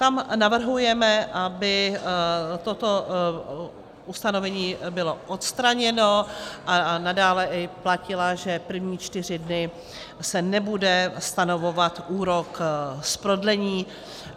Tam navrhujeme, aby toto ustanovení bylo odstraněno a nadále platilo, že první čtyři dny se nebude stanovovat úrok z prodlení.